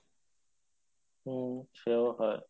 হম সেও হয়